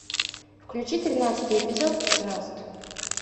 включи тринадцатый эпизод мост